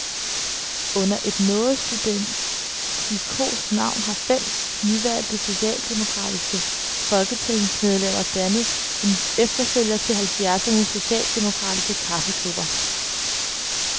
Under et noget studentikost navn har fem nyvalgte socialdemokratiske folketingsmedlemmer dannet en efterfølger til halvfjerdsernes socialdemokratiske kaffeklubber.